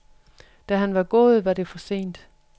Da han var gået, var det for sent.